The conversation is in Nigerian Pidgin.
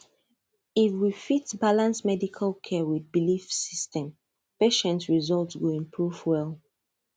if we fit balance medical care with belief system patient result go improve well